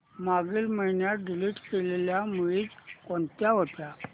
मागील महिन्यात डिलीट केलेल्या मूवीझ कोणत्या होत्या